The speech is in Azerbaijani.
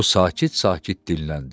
O sakit-sakit dilləndi.